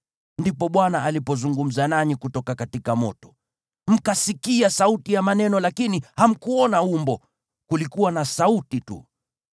Ndipo Bwana alipozungumza nanyi kutoka moto. Mkasikia sauti ya maneno lakini hamkuona umbo, kulikuwa na sauti tu.